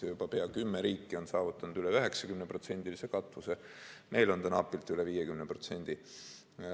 Juba pea kümme riiki on saavutanud üle 90%-lise katvuse, meil on see napilt üle 50%.